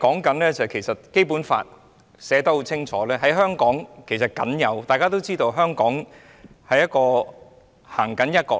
事實上，《基本法》清楚訂明，而大家也知道，"一國兩制"是香港僅有。